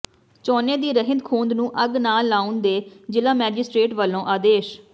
ਝੋਨੇ ਦੀ ਰਹਿੰਦ ਖੂੰਹਦ ਨੂੰ ਅੱਗ ਨਾ ਲਾਉਣ ਦੇ ਜ਼ਿਲ੍ਹਾ ਮੈਜਿਸਟ੍ਰੇਟ ਵੱਲੋਂ ਆਦੇਸ਼